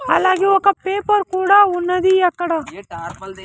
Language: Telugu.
అలాగే ఒక పేపర్ కూడా ఉన్నది అక్కడ .